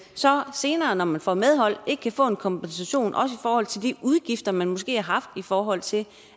senere når man får medhold ikke kan få en kompensation også i forhold til de udgifter man måske har haft i forhold til